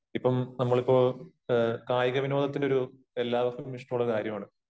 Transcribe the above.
ഇപ്പം നമ്മളിപ്പോ കായിക വിനോദത്തിന്റെ ഒരു എല്ലാവർക്കും ഇഷ്ടമുള്ള കാര്യമാണ്